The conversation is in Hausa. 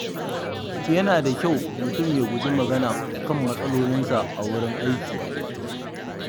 Yana da kyau mutum ya guji magana kan matsalolinsa a wurin aiki.